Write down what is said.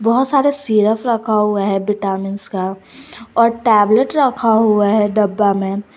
बहुत सारे सिरप रखा हुआ है विटामिन्स का और टैबलेट रखा हुआ है डब्बा में।